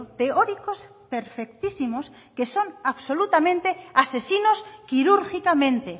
teóricos perfectísimos que son absolutamente asesinos quirúrgicamente